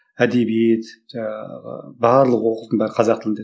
әдебиет жаңағы барлық оқудың бәрі қазақ тілінде еді